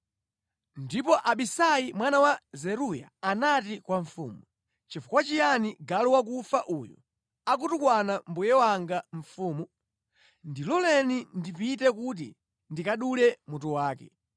Ndipo Abisai mwana wa Zeruya anati kwa mfumu, “Nʼchifukwa chiyani galu wakufa uyu akutukwana mbuye wanga mfumu? Ndiloleni ndipite kuti ndikadule mutu wake.”